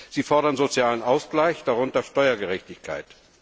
Sie fordern sozialen Ausgleich, darunter Steuergerechtigkeit.